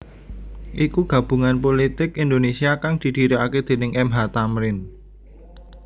iku Gabungan Pulitik Indonesia kang didhirikaké déning M H Thamrin